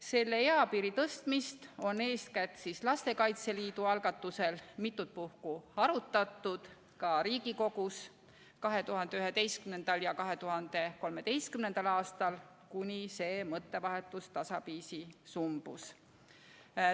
Selle eapiiri tõstmist on eeskätt Lastekaitse Liidu algatusel mitut puhku arutatud ka Riigikogus 2011. ja 2013. aastal, kuni see mõttevahetus tasapisi sumbus.